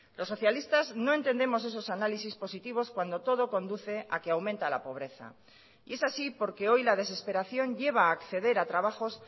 los socialistas no entendemos esos análisis positivos cuando todo conduce a que aumenta la pobreza y es así porque hoy la desesperación lleva a acceder a trabajos